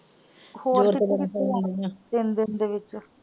ਹੋਰ ਤਿੰਨ ਦਿਨ ਦੇ ਵਿੱਚ?